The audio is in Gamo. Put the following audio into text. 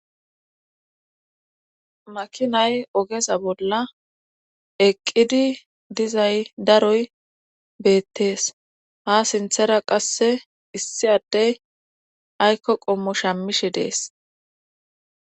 Makinay ogeza bolla eqqidi dizay daroy beettees ha sinthera qasse issi addey aykko qommo shammishe dees.